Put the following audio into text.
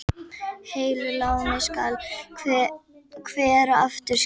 Heilu láni skal hver aftur skila.